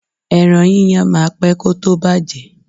Ẹran yíyan máa pé kó tó bàjẹ́.